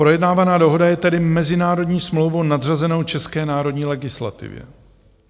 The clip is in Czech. Projednávaná dohoda je tedy mezinárodní smlouvu nadřazenou české národní legislativě.